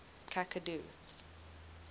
cacadu